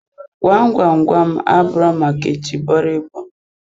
Gwam gwam gwam, abụro maka itibọrịbọ.